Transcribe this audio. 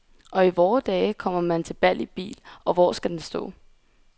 Og i vore dage kommer man til bal i bil, og hvor skal den stå?